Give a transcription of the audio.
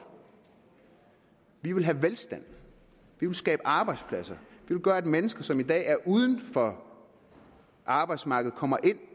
vi vil have velstand vi vil skabe arbejdspladser vi vil gøre at mennesker som i dag er uden for arbejdsmarkedet kommer ind